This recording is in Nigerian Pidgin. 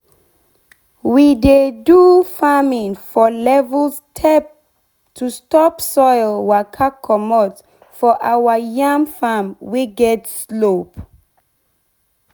we dey do farming for level step to stop soil waka comot for our yam farm wey get slope.